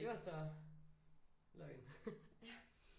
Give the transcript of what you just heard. Det var så løgn